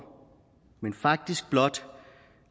men faktisk blot